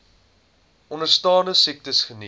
onderstaande siektes geniet